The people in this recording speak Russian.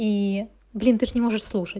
и блин ты же не можешь слушать